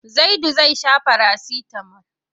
Zaidu zai sha farasitamol.